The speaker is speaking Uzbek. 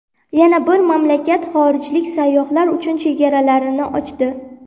Yana bir mamlakat xorijlik sayyohlar uchun chegaralarini ochdi.